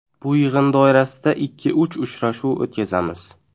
Bu yig‘in doirasida ikki-uch uchrashuv o‘tkazamiz.